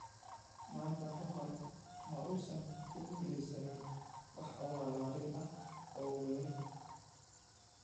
maanta ka hor ma uusan ku guuleysan wax abaalmarin ah oo weyn.